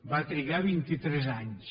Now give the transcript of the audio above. va trigar vint i tres anys